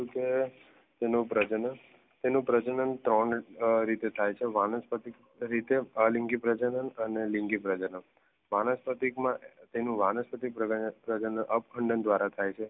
જેનો પ્રજાન તેને પ્રજનન ત્રણ રીતે થાય છે વાનસ્પતિ રીતે, આલિંગી પ્રજાના અને લિંગી પ્રજાના વાનસ્પતિક માં તેનું વાનસ્પતિક પ્રજનન ઉપખંડન દ્વારા થાય છે.